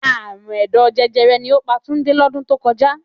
Àrùn ẹ̀dọ̀ jẹjẹrẹ ni ó pa Túndé lọ́dún tó kọjá